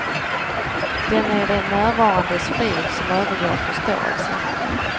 Den är det närvarandes frid, som övergår förståelsen.